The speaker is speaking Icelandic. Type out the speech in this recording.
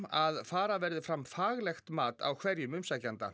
að fara verði fram faglegt mat á hverjum umsækjanda